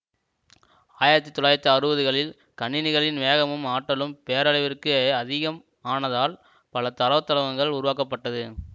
ஆயிரத்தி தொள்ளாயிரத்தி அறுபது களில் கணினிகளின் வேகமும் ஆற்றலும் பேரளவிற்கு அதிகம் ஆனதால் பல தரவுத்தளங்கள் உருவாக்கப்பட்டது